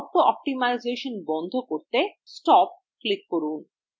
auto optimisation বন্ধ করতে stop এ click করুন